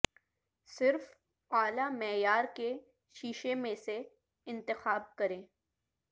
صرف اعلی معیار کے شیشے میں سے انتخاب کریں